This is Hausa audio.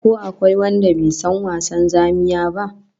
Ko akwai wanda bai san wasan zamiya ba?